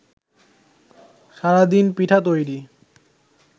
সারাদিন পিঠা তৈরি